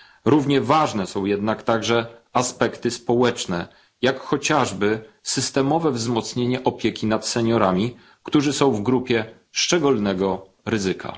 Równie ważne są jednak także aspekty społeczne, jak chociażby systemowe wzmocnienie opieki nad seniorami, którzy są w grupie szczególnego ryzyka.